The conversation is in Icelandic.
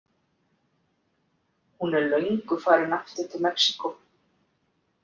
Hún er löngu farin aftur til Mexíkó.